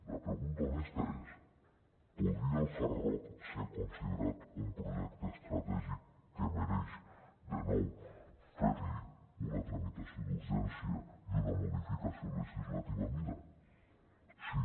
la pregunta honesta és podria el hard rock ser considerat un projecte estratègic que mereix de nou fer li una tramitació d’urgència i una modificació legislativa a mida sí